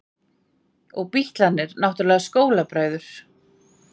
Og Bítlarnir náttúrlega skólabræður.